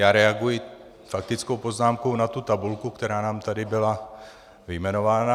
Já reaguji faktickou poznámkou na tu tabulku, která nám tady byla vyjmenována.